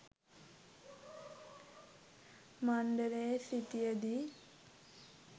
මණ්ඩලයේ සිටිය දී